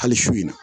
Hali su in na